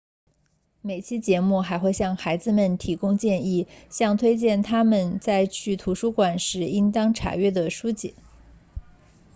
每期节目还会向孩子们提供建议向推荐他们在去图书馆时应当查阅的书籍